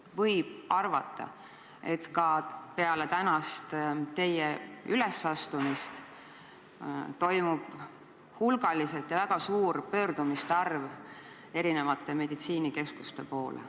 Võib arvata, et ka peale teie tänast ülesastumist pöördutakse hulgaliselt selle palvega erinevate meditsiinikeskuste poole.